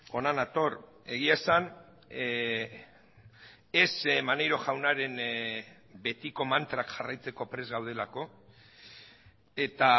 hona nator egia esan ez maneiro jaunaren betiko mantrak jarraitzeko prest gaudelako eta